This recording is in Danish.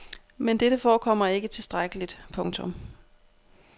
Men dette forekommer ikke tilstrækkeligt. punktum